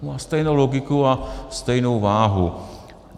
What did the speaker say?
To má stejnou logiku a stejnou váhu.